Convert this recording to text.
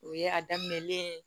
O ye a daminɛlen ye